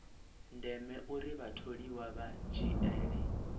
ndeme uri vhatholiwa vha dzhiele